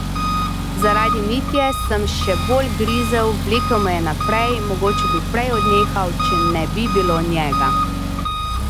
Zaradi Mitje sem še bolj grizel, vlekel me je naprej, mogoče bi prej odnehal, če ne bi bilo njega.